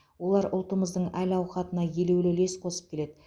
олар ұлтымыздың әл ауқатына елеулі үлес қосып келеді